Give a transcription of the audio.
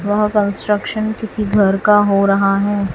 वह कंस्ट्रक्शन किसी घर का हो रहा है।